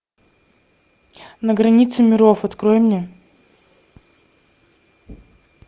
на границе миров открой мне